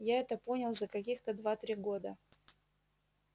я это понял за каких-то два-три года